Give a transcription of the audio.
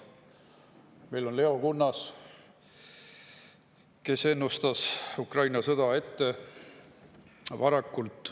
Meil on Leo Kunnas, kes ennustas Ukraina sõda ette varakult.